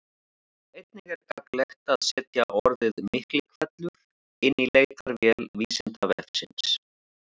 Einnig er gagnlegt að setja orðið Miklihvellur inn í leitarvél Vísindavefsins.